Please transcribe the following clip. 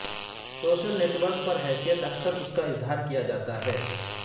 social network پر حیثیت اکثر اس کا اظہار کیا جاتا ہے